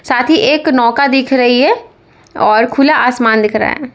साथ ही एक नौका दिख रही है और खुला आसमान दिख रहा है।